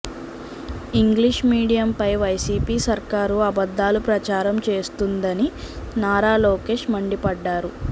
English మీడియంపై YCP సర్కారు అబద్దాలు ప్రచారం చేస్తోందని నారా లోకేష్ మండిపడ్డారు